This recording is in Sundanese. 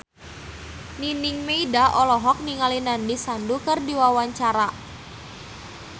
Nining Meida olohok ningali Nandish Sandhu keur diwawancara